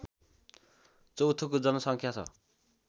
चौथौको जनसङ्ख्या छ